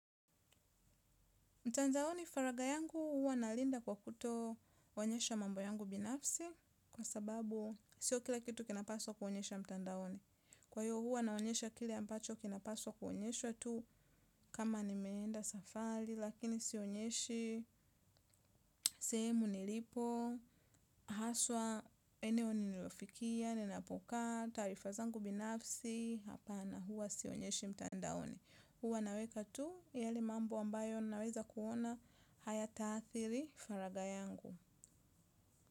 Mtandaoni faraga yangu huwa nalinda kwa kuto onyesha mambo yangu binafsi kwa sababu sio kila kitu kinapaswa kuonyeshwa mtandaoni. Kwa hiyo huwa naonyesha kile ambacho kinapaswa kuonyeshwa tu kama nimeenda safari lakini sionyeshi sehemu nilipo, haswa eneo ninalofikia, ninapokaa, taarifa zangu binafsi, hapana huwa sionyeshi mtandaoni. Huwa naweka tu yale mambo ambayo naweza kuona hayata adhiri faraga yangu.